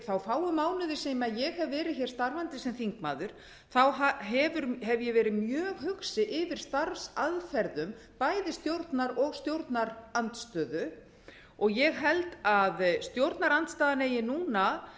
þá fáu mánuði sem ég hef verið starfandi sem þingmaður hef ég verið mjög hugsi yfir starfsaðferðum bæði stjórnar og stjórnarandstöðu og ég held að stjórnarandstaðan eigi núna